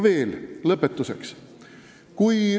Lõpetuseks.